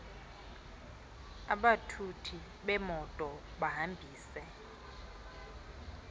abathuthi bemoto bahambise